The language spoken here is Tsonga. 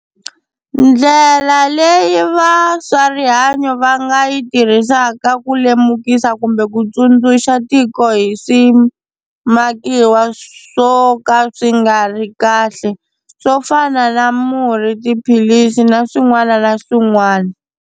Ndlela leyi va swa rihanyo va nga yi tirhisaka ku lemukisa kumbe ku tsundzuxa tiko hi swimakiwa swo ka swi nga ri kahle swo fana na murhi, tiphilisi na swin'wana na swin'wana.